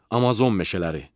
Amazon meşələri.